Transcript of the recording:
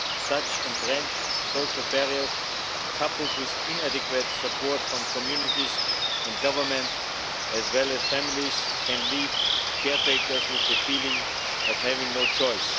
Such entrenched social barriers, coupled with inadequate support from communities and government, as well as families, can leave carers with the feeling of having no choice.